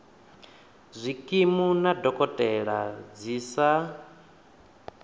zwikimu na dokotela dzi sa